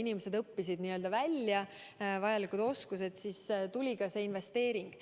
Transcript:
inimesed õppisid ära vajalikud oskused, siis tuli ka see investeering.